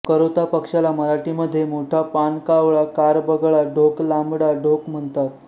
करोता पक्षाला मराठी मध्ये मोठा पान कावळा कार बगळा ढोक लांबडा ढोक म्हणतात